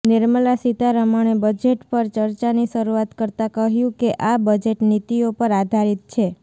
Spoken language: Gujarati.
નિર્મલા સીતારમણે બજેટ પર ચર્ચાની શરુઆત કરતા કહ્યું કે આ બજેટ નીતિઓ પર આધારિત છે